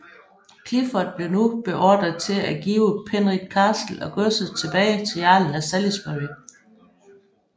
Clifford blev nu beordret til at give Penrith Castle og godset tilbage til jarlen af Salisbury